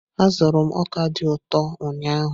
Azụrụ m ọka dị ụtọ ụnyahụ.